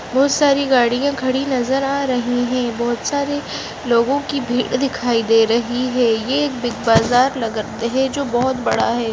बहुत सारी गाड़ियाँ खड़ी नजर आ रहाी हैं बहुत सारी लोगो की भीड़ दिखाई दे रही है यह एक बिग बाज़ार लग रहा है जो बहुत बड़ा है।